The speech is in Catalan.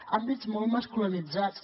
àmbits molt masculinitzats